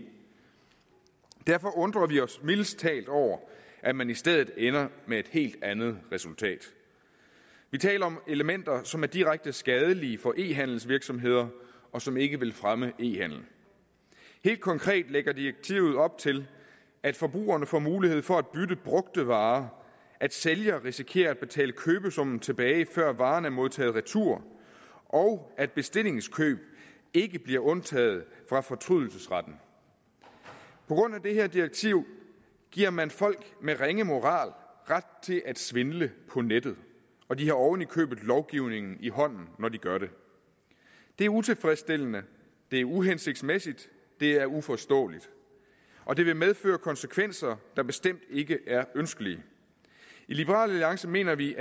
derfor undrer vi os mildest talt over at man i stedet ender med et helt andet resultat vi taler om elementer som er direkte skadelige for e handelsvirksomheder og som ikke vil fremme e handel helt konkret lægger direktivet op til at forbrugerne får mulighed for at bytte brugte varer at sælger risikerer at betale købesummen tilbage før varen er modtaget retur og at bestillingskøb ikke bliver undtaget fra fortrydelsesretten på grund af det her direktiv giver man folk med ringe moral ret til at svindle på nettet og de har oven i købet lovgivningen i hånden når de gør det det er utilfredsstillende det er uhensigtsmæssigt det er uforståeligt og det vil medføre konsekvenser der bestemt ikke er ønskelige i liberal alliance mener vi